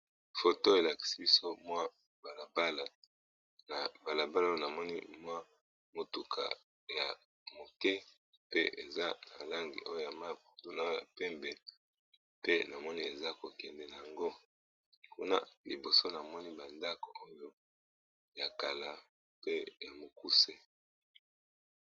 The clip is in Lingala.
Photo elakisi balabala na mutuka ya muke na bandako ngambo kuna ya mukuse.